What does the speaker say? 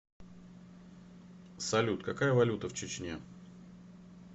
салют какая валюта в чечне